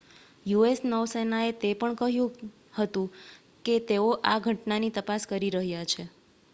US નૌસેનાએ તે પણ કહ્યું હતું કે તેઓ આ ઘટનાની તપાસ કરી રહ્યા છે